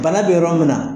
Bana bɛ yɔrɔ min na